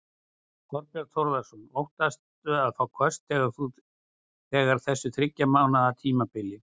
Þorbjörn Þórðarson: Óttastu að fá köst á þessu þriggja mánaða tímabili?